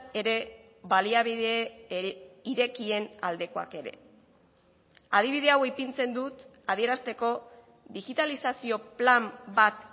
ere baliabide irekien aldekoak ere adibide hau ipintzen dut adierazteko digitalizazio plan bat